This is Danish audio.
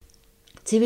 TV 2